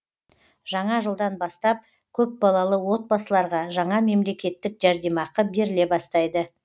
жаңа жылдан бастап көпбалалы отбасыларға жаңа мемлекеттік жәрдемақы беріле бастайды